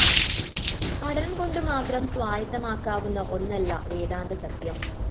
പഠനംകൊണ്ടുമാത്രം സ്വായത്തമാക്കാവുന്ന ഒന്നല്ല വേദാന്തസത്യം